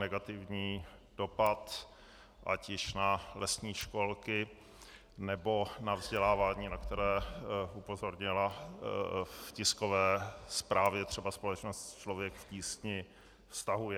negativní dopad ať již na lesní školky, nebo na vzdělávání, na které upozornila v tiskové zprávě třeba společnost Člověk v tísni, vztahuje.